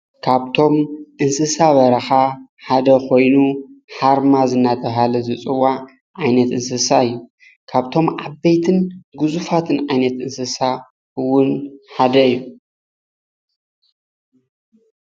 ኻብትሞ ዓቦይቲን ናይ በረኻን እንስሳ ዝበሃሉ ሓደ ሓርማዝ እዩ